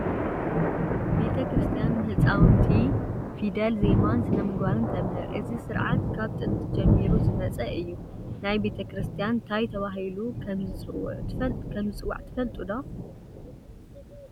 ቤተ ክርስቲያን ንህፃውንቲ ፊደል፣ ዜማን ስነ ምግባርን ተምህር፡፡ እዚ ስርዓት ካብ ጥንቲ ጀሚሩ ዝመፀ እዩ፡፡ ናይ ቤተ ክርስቲያን ታይ ተባሂሎም ከምዝፅውዑ ትፈልጡ ዶ?